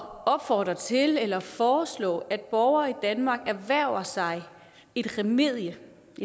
opfordre til eller at foreslå at borgere i danmark erhverver sig et remedium